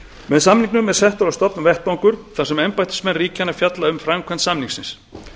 með samningnum er settur á stofn vettvangur þar sem embættismenn ríkjanna fjalla um framkvæmd samningsins